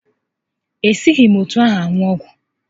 Ị gaghị esi etu ahụ aṅụ ọgwụ!